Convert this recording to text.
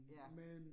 Ja